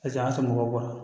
A saga sama mɔgɔ bɔ